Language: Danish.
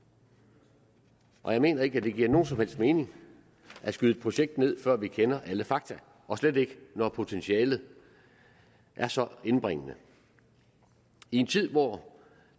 og jeg mener ikke at det giver nogen som helst mening at skyde et projekt ned før vi kender alle fakta og slet ikke når potentialet er så indbringende i en tid hvor